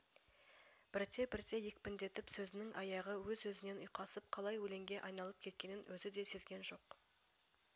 бірте-бірте екпіндетіп сөзінің аяғы өз-өзінен ұйқасып қалай өлеңге айналып кеткенін өзі де сезген жоқ